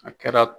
A kɛra